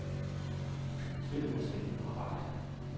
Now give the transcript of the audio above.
Spillet er spændende og rart.